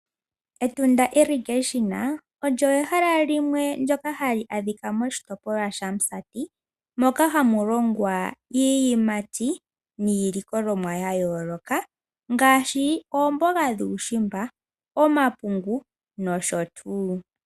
Etunda olyo ehala limwe ndyoka hali adhika moshitopolwa shaMusati moka hamu longwa iiyimati niilikolomwa yayooloka ngaashi oomboga dhuushimba, omapungu nosho tuu.